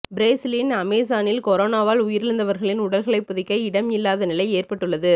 பிரேசிலின் அமேசானில் கொரோனாவால் உயிரிழந்தவர்களின் உடல்களைப் புதைக்க இடம் இல்லாத நிலை ஏற்பட்டுள்ளது